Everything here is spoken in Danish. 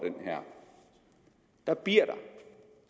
der bliver